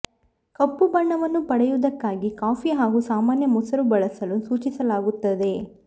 ಕಪ್ಪು ಬಣ್ಣವನ್ನು ಪಡೆಯುವುದಕ್ಕಾಗಿ ಕಾಫಿ ಹಾಗೂ ಸಾಮಾನ್ಯ ಮೊಸರು ಬಳಸಲು ಸೂಚಿಸಲಾಗುತ್ತದೆ